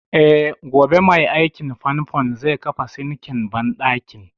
Eh, gobe mai aikin fanfon zai kafa sinkin banɗakin